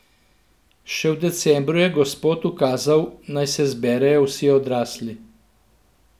Še v decembru je Gospod ukazal, naj se zberejo vsi odrasli.